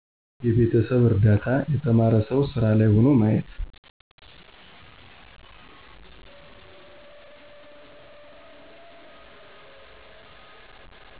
የቤተሰብ እርዳታ የተማረው ሠው ሢራ ላይ ሆኖ ማየት